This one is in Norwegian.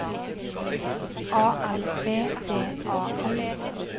A L V D A L